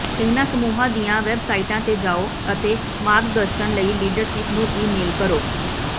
ਇਹਨਾਂ ਸਮੂਹਾਂ ਦੀਆਂ ਵੈਬਸਾਈਟਾਂ ਤੇ ਜਾਓ ਅਤੇ ਮਾਰਗਦਰਸ਼ਨ ਲਈ ਲੀਡਰਸ਼ਿਪ ਨੂੰ ਈਮੇਲ ਕਰੋ